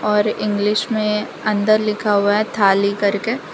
और इंग्लिश में अंदर लिखा हुआ है थाली करके।